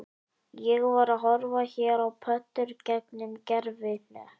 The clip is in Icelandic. Ég var að horfa hér á pöddur gegnum gervihnött